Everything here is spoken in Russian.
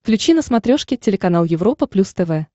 включи на смотрешке телеканал европа плюс тв